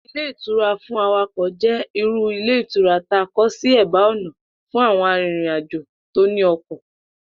Ilé ìtura fún awakò̩ jé̩ irú ilé ìtura ta kó̩ sí è̩bá ò̩nà fún àwo̩n arìnrìnàjò tó ní o̩kò̩